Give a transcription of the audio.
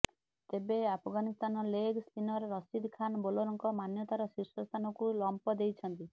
ତେବେ Afghanistan leg spinner Rashid Khan ବୋଲରଙ୍କ ମାନ୍ୟତାର ଶୀର୍ଷ ସ୍ଥାନକୁ ଲମ୍ଫ ଦେଇଛନ୍ତି